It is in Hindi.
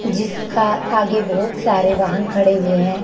जिसका आगे बहुत सारे वाहन खड़े हुए हैं।